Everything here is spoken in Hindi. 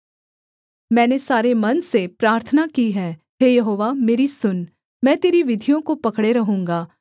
मैंने सारे मन से प्रार्थना की है हे यहोवा मेरी सुन मैं तेरी विधियों को पकड़े रहूँगा